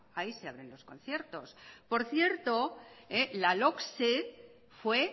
ahí se abren los conciertos por cierto la logse fue